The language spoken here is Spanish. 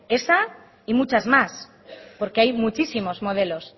esa y muchas más porque hay muchísimos modelos